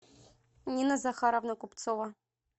нина захаровна купцова